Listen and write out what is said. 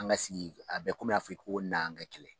An ka sigi a bɛ komi i n'a fɔ i ko n'an kɛ kɛlɛ.